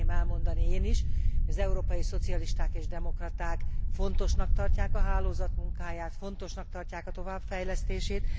Szeretném elmondani én is, hogy az Európai Szocialisták és Demokraták fontosnak tartják a hálózat munkáját, fontosnak tartják a továbbfejlesztését.